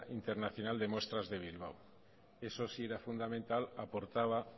internacional de muestras de bilbao eso sí era fundamental aportaba